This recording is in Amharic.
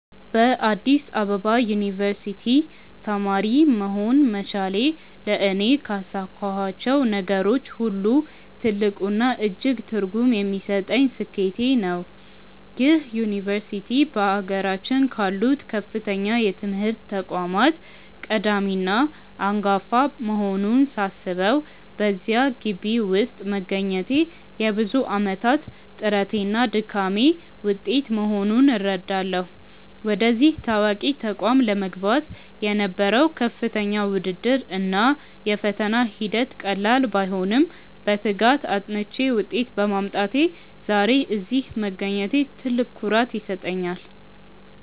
በአዲስ አበባ ዩኒቨርሲቲ (Addis Ababa University) ተማሪ መሆን መቻሌ ለእኔ ካሳካኋቸው ነገሮች ሁሉ ትልቁና እጅግ ትርጉም የሚሰጠኝ ስኬቴ ነው። ይህ ዩኒቨርሲቲ በአገራችን ካሉት ከፍተኛ የትምህርት ተቋማት ቀዳሚና አንጋፋ መሆኑን ሳስበው፣ በዚያ ግቢ ውስጥ መገኘቴ የብዙ ዓመታት ጥረቴና ድካሜ ውጤት መሆኑን እረዳለሁ። ወደዚህ ታዋቂ ተቋም ለመግባት የነበረው ከፍተኛ ውድድር እና የፈተና ሂደት ቀላል ባይሆንም፣ በትጋት አጥንቼ ውጤት በማምጣቴ ዛሬ ላይ እዚህ መገኘቴ ትልቅ ኩራት ይሰጠኛል።